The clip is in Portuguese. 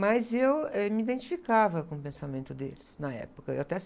Mas eu, eh, me identificava com o pensamento deles na época. Eu até...